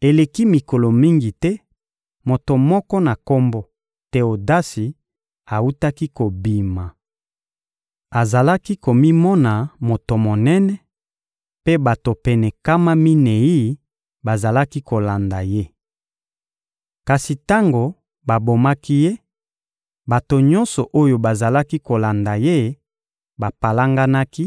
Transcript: Eleki mikolo mingi te, moto moko na kombo Teodasi awutaki kobima. Azalaki komimona moto monene, mpe bato pene nkama minei bazalaki kolanda ye. Kasi tango babomaki ye, bato nyonso oyo bazalaki kolanda ye bapalanganaki